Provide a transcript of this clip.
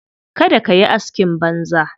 Kada ka yi askin banza.